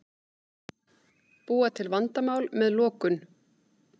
Búa til vandamál með lokun